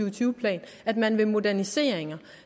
og tyve plan at man vil moderniseringer